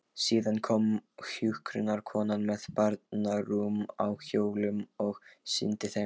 Síðan kom hjúkrunarkonan með barnarúm á hjólum og sýndi þeim.